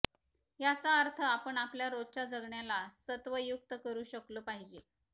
याचा अर्थ आपण आपल्या रोजच्या जगण्याला सत्वयुक्त करू शकलो पाहिजे